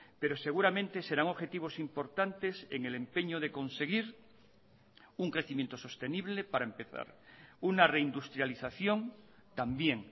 pero seguramente serán objetivos importantes en el empeño de conseguir un crecimiento sostenible para empezar una reindustrialización también